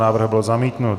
Návrh byl zamítnut.